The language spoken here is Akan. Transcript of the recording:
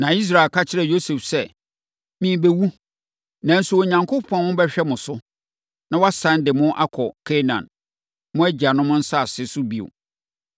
Na Israel ka kyerɛɛ Yosef sɛ, “Merebɛwu, nanso Onyankopɔn bɛhwɛ mo so, na wasane de mo akɔ Kanaan, mo agyanom asase so bio.